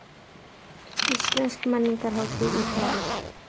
Íslensk menningarhátíð í París